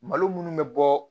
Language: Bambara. Malo minnu bɛ bɔ